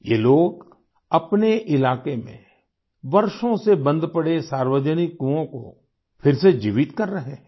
ये लोग अपने इलाके में वर्षों से बंद पड़े सार्वजनिक कुओं को फिर से जीवित कर रहे हैं